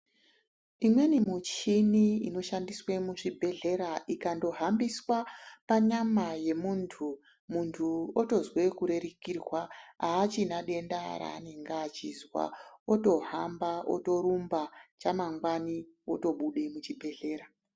Imweni muchini inoshandiswe muzvibhedhlera ikangohambiswa panyama yemuntu muntu otozee kurerukirwa aachina denda raanenga achizwa otohamba otorumba chamangeani otobude muchibhedhera .